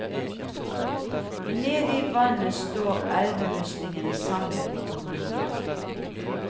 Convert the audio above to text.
Nede i vannet står elvemuslingene samlet i kolonier.